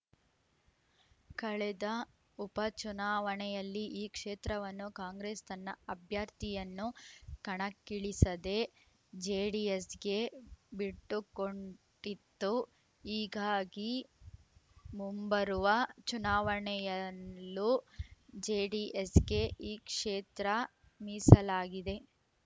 ಕಳೆದ ಉಪಚುನಾವಣೆಯಲ್ಲಿ ಈ ಕ್ಷೇತ್ರವನ್ನು ಕಾಂಗ್ರೆಸ್‌ ತನ್ನ ಅಭ್ಯರ್ಥಿಯನ್ನು ಕಣಕ್ಕಿಳಿಸದೆ ಜೆಡಿಎಸ್‌ಗೆ ಬಿಟ್ಟುಕೊಂಟ್ಟಿತ್ತು ಹೀಗಾಗಿ ಮುಂಬರುವ ಚುನಾವಣೆಯಲ್ಲೂ ಜೆಡಿಎಸ್‌ಗೆ ಈ ಕ್ಷೇತ್ರ ಮೀಸಲಾಗಿದೆ